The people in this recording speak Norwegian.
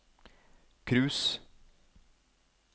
cruise